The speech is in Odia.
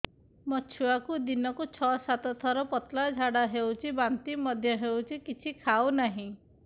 ମୋ ଛୁଆକୁ ଦିନକୁ ଛ ସାତ ଥର ପତଳା ଝାଡ଼ା ହେଉଛି ବାନ୍ତି ମଧ୍ୟ ହେଉଛି କିଛି ଖାଉ ନାହିଁ